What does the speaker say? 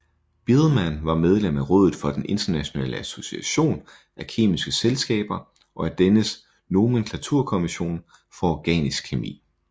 Biilmann var medlem af rådet for den internationale association af kemiske selskaber og af dennes nomenklaturkommission for organisk kemi